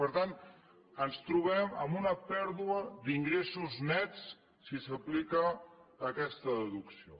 per tant ens trobem amb una pèrdua d’ingressos nets si s’aplica aquesta deducció